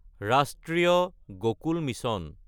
ৰাষ্ট্ৰীয় গকুল মিছন